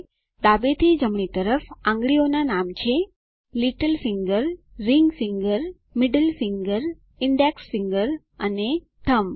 ડાબેથી જમણી તરફ આંગળીઓના નામ છે little finger ring finger middle finger index finger અને થમ્બ